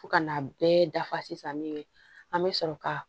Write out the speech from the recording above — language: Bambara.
Fo ka n'a bɛɛ dafa sisan min ye an bɛ sɔrɔ ka